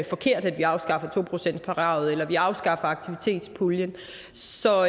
forkert at vi afskaffer to procentskravet eller at vi afskaffer aktivitetspuljen så